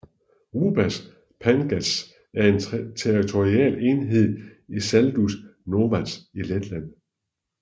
Rubas pagasts er en territorial enhed i Saldus novads i Letland